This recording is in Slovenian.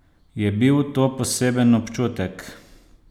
Je bil to poseben občutek?